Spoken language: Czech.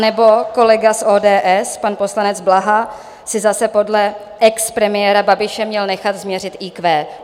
Nebo kolega z ODS, pan poslanec Blaha, si zase podle expremiéra Babiše měl nechat změřit IQ.